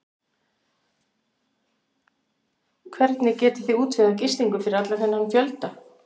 Hvernig getiði útvegað gistingu fyrir allan þennan fjölda?